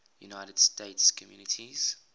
united states communities